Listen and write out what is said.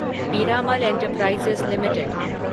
Piramal enterprises limited